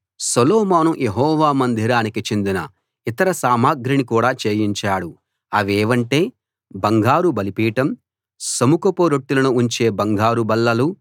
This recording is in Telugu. సొలొమోను యెహోవా మందిరానికి చెందిన ఇతర సామగ్రిని కూడా చేయించాడు అవేవంటే బంగారు బలిపీఠం సముఖపు రొట్టెలను ఉంచే బంగారు బల్లలు